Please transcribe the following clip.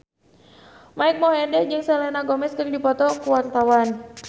Mike Mohede jeung Selena Gomez keur dipoto ku wartawan